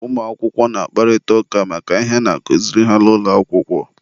ụmụakwụkwọ na-akparịta ụka maka ihe a na-akụziri ha n'ụlọ akwụkwọ.